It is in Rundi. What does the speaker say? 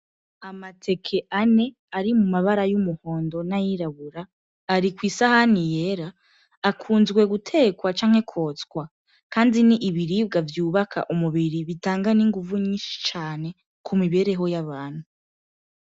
Amateke ane ari mu mabara y'umuhondo n'ayirabura, ari kwi sahani yera. Akunze gutekwa canke kwotswa kandi ni ibiribwa vyubaka umubiri, bitanga n'inguvu nyinshi ku mibereho y'abantu.